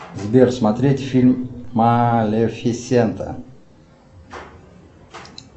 сбер смотреть фильм малифисента